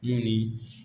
Mun ni